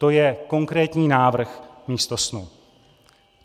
To je konkrétní návrh místo snu.